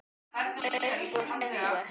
Uppúr engu?